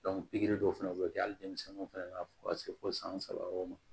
pikiri dɔw fɛnɛ bɛ kɛ hali denmisɛnninw fana na fo ka se fo san saba yɔrɔw ma